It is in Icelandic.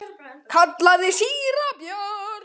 kallaði síra Björn.